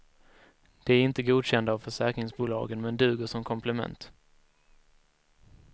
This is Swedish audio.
De är inte godkända av försäkringsbolagen men duger som komplement.